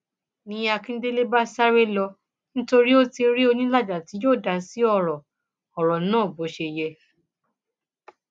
ni akíndélé bá sáré lọ nítorí ó ti rí onílàjà tí yóò dá sí ọrọ ọrọ náà bó ṣe yẹ